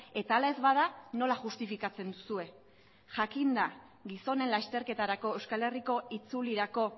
eta ala ez bada nola justifikatzen duzue jakinda gizonen lasterketarako euskal herriko itzulirako